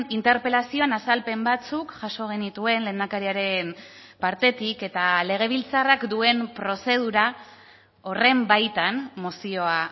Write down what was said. interpelazioan azalpen batzuk jaso genituen lehendakariaren partetik eta legebiltzarrak duen prozedura horren baitan mozioa